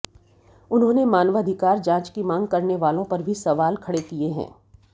उन्होंने मानवाधिकार जांच की मांग करने वालों पर भी सवाल खड़े किए है